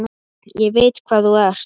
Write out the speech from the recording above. Ég veit hvað þú ert.